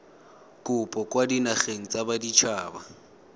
kopo kwa dinageng tsa baditshaba